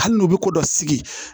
Hali n'u bɛ ko dɔ sigi